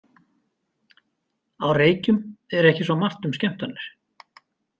Á Reykjum er ekki svo margt um skemmtanir.